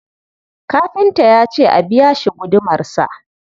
Kafinta ya ce a biya shi gudumarsa.